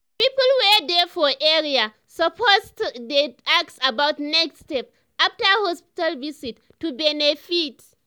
people wey dey for area suppose dey ask about next step after hospital visit to benefit.